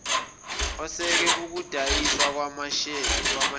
oseka ukudayiswa kwamasheya